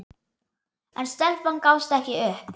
En stelpan gafst ekki upp.